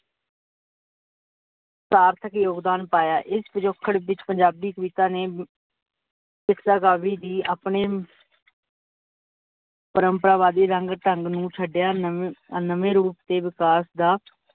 ਸਾਰਥਕ ਯੋਗਦਾਨ ਪਾਇਆ। ਇਸ ਪਿਜੋਖੜ ਵਿੱਚ ਪੰਜਾਬੀ ਕਵਿਤਾ ਨੇ ਕਾਵਿ ਦੀ ਆਪਣੇ ਪਰਮਪਰਾ ਵਾਦੀ ਜੰਗ ਢੰਗ ਨੂੰ ਛੱਡਿਆ ਨਵੇ ਰੂਪ ਤੇ ਵਿਕਾਸ ਦਾ